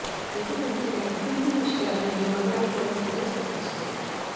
ఎందుకంటే ఇలాంటి సిల్లీ విషయాలను ఏ మగాడు కూడా సీరియస్ గా తీసుకోడు